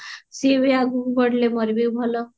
ସିଏ ବି ଆଗକୁ ବଢିଲେ ମୋର ବି ଭଲ